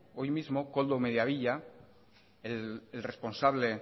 hoy mismo koldo mediavilla el responsable